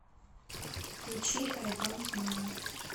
включи ай донт майнд